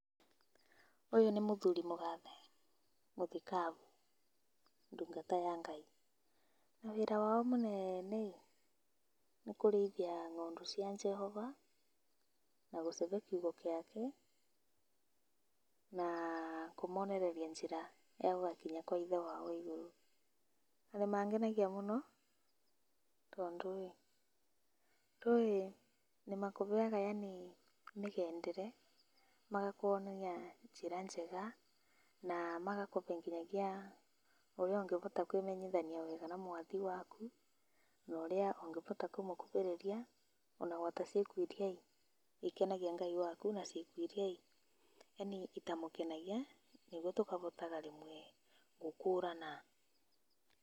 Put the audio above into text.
Ũyũ nĩ mũthuri mũgathe, mũthikabu, ndũngata ya Ngai. Na wĩra wao mũnene ĩ, nĩ kũriithia ng'ondũ cia Jehova, na gũcihe kĩugo gĩake, na kũmonereria njĩra ya gũgakinya kwĩ Ithe wao wa igũrũ. Na nĩ mangenagia mũno tondũ ĩ, ndũĩ nĩmakũheaga yaani mĩgendere, magakũonia njĩra njega na magakũhe nginyagia ũrĩa ũngĩhota kwĩmenyithania wega na Mwathi waku, na ũrĩa ũngĩhota kũmũkuhĩrĩria, ona hamwe na ciko irĩa ikenagia Ngai, na iria itamũkenagia, nĩguo tũkahota rĩmwe gũkũrana.